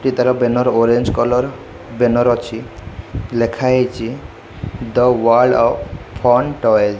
ଏ ତାର banner orange colour banner ଅଛି ଲେଖା ହେଇଛି the world of fun toys.